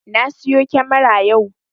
Na siyo kyamara yau